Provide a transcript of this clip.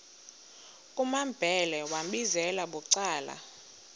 kumambhele wambizela bucala